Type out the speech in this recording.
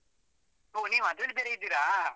ಹೋ ನೀವು ಅದ್ರಲ್ಲಿ ಬೇರೆ ಇದ್ದೀರಾ?